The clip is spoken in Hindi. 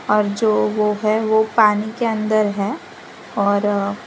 और जो वो है वो पानी के अंदर है और--